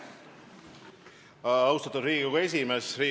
Austatud Riigikogu esimees!